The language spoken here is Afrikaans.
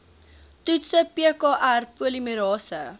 toetse pkr polimerase